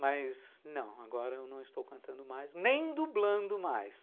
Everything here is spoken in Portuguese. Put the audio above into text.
Mas não, agora eu não estou cantando mais, nem dublando mais.